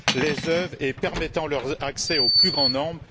les œuvres, et permettant leur accès au plus grand nombre.